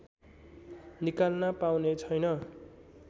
निकाल्न पाउने छैन